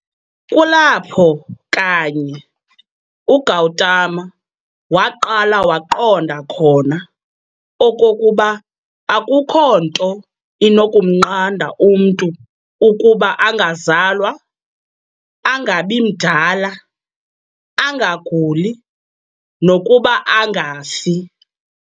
kulapho kanye uGautama waqala waqonda khona okokuba akukho nto inokumnqanda umntu ukuba angazalwa, angabimdala, angaguli, nokuba angafi.